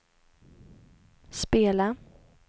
spela